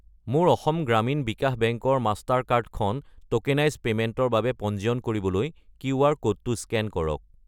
মোৰ অসম গ্ৰামীণ বিকাশ বেংক ৰ Mastercard কাৰ্ডখন ট'কেনাইজ্ড পে'মেণ্টৰ বাবে পঞ্জীয়ন কৰিবলৈ কিউআৰ ক'ডটো স্কেন কৰক।